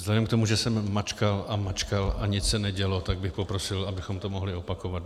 Vzhledem k tomu, že jsem mačkal a mačkal a nic se nedělo, tak bych poprosil, abychom to mohli opakovat.